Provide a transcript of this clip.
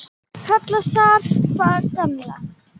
Kalla hann Skarpa og gamla!